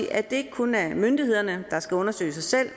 at det ikke kun er myndighederne der skal undersøge sig selv